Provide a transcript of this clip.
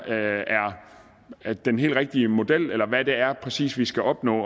er den helt rigtige model eller hvad det er præcist vi skal opnå